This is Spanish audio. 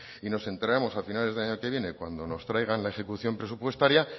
y nos enteraremos a finales del año que viene cuando nos traigan la ejecución presupuestaria